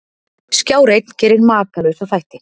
Skjár einn gerir Makalausa þætti